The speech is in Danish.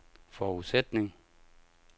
forudsætning